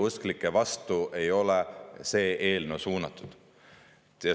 See eelnõu ei ole siinsete õigeusklike vastu suunatud.